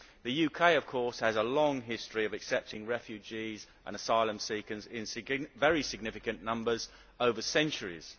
The UK, of course, has a long history of accepting refugees and asylum seekers in very significant numbers over centuries.